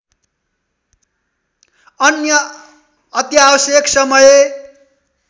अन्य अत्यावश्यक समय